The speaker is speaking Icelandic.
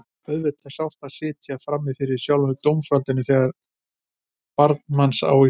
Auðvitað er sárt að sitja frammi fyrir sjálfu dómsvaldinu þegar barn manns á í hlut.